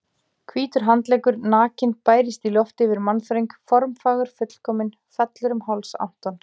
Hvítur handleggur, nakinn, bærist í lofti yfir mannþröng, formfagur, fullkominn, fellur um háls Antons.